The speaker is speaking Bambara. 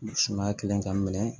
Sumaya kelen ka minɛ